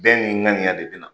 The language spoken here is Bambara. Bɛɛ n'i ŋaniya de bi na.